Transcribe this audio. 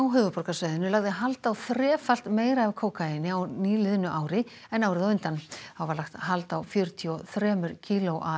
höfuðborgarsvæðinu lagði hald á þrefalt meira af kókaíni á nýliðnu ári en árið á undan þá var lagt hald á fjörutíu og þremur kílóum